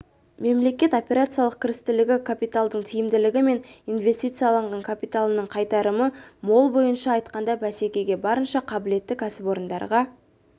мемлекет операциялық кірістілігі капиталдың тиімділігі мен инвестициялаған капиталының қайтарымы мол былайша айтқанда бәсекеге барынша қабілетті кәсіпорындарға